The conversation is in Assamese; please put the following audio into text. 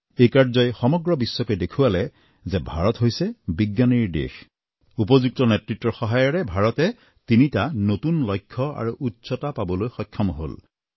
এই কাৰ্যই সমগ্ৰ বিশ্বকে দেখুৱালে যে ভাৰত হৈছে বিজ্ঞানীৰ দেশ উপযুক্ত নেতৃত্বৰ সহায়েৰে ভাৰতে তিনিটা নতুন লক্ষ্য আৰু উচ্চতা পাবলৈ সক্ষম হল